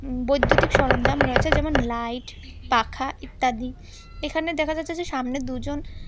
বৈদ্যুতিক সরঞ্জাম রয়েছে যেমন লাইট পাখা ইত্যাদি এখানে দেখা যাচ্ছে যে সামনে দুজন--